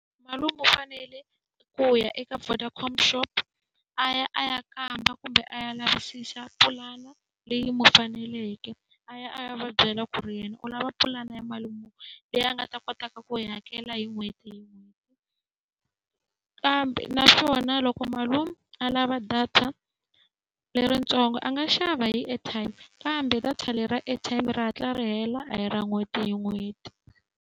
Malume u fanele ku ya eka Vodacom shop a ya a ya kamba kumbe a ya lavisisa pulani leyi n'wi faneleke. A ya a ya va byela ku ri yena u lava pulani ya mali muni leyi a nga ta kotaka ku yi hakela hi n'hweti hi n'hweti. Kambe naswona loko malume a lava data leritsongo a nga xava hi airtime, kambe data leri ra airtime ri hatla ri hela a hi ra n'hweti hi n'hweti.